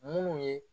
Munnu ye